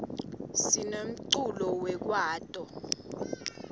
sinemculo wekwaito